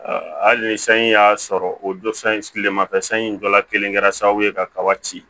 hali ni sanji y'a sɔrɔ o dɔ sigilen mafɛ sanji jɔla kelen kɛra sababu ye kaba ci